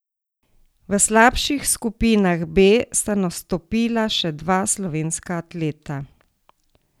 V slabših skupinah B sta nastopila še dva slovenska atleta.